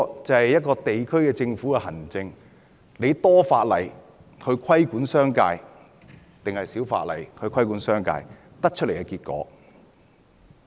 這是一個地區政府的行政——要多法例規管商界，還是少法例規管商界——所得的結果。